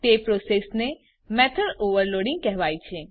તે પ્રોસેસને method overloading કહેવાય છે